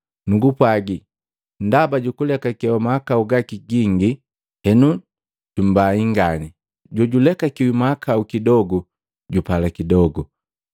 Nugupwagi, ndaba julekakewa mahakau gaki gingi, henu jumbai ngani. Jojulekakiwi mahakau kidogu, jupala kidogu.”